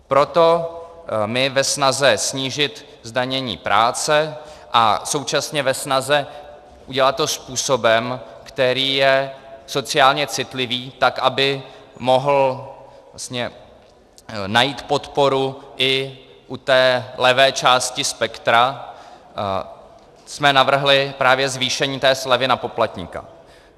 Proto my ve snaze snížit zdanění práce a současně ve snaze udělat to způsobem, který je sociálně citlivý, tak aby mohl vlastně najít podporu i u té levé části spektra, jsme navrhli právě zvýšení té slevy na poplatníka.